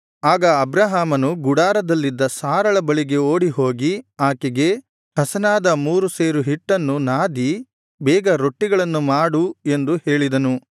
ಆಗ ಅಬ್ರಹಾಮನು ಗುಡಾರದಲ್ಲಿದ್ದ ಸಾರಳ ಬಳಿಗೆ ಓಡಿಹೋಗಿ ಆಕೆಗೆ ಹಸನಾದ ಮೂರು ಸೇರು ಹಿಟ್ಟನ್ನು ನಾದಿ ಬೇಗ ರೊಟ್ಟಿಗಳನ್ನು ಮಾಡು ಎಂದು ಹೇಳಿದನು